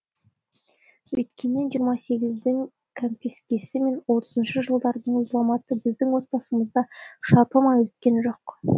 өйткені жиырма сегіздің кәмпескесі мен отызыншы жылдардың зұлматы біздің отбасымызды да шарпымай өткен жоқ